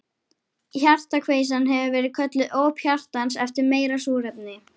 Hjartakveisan hefur verið kölluð óp hjartans eftir meira súrefni.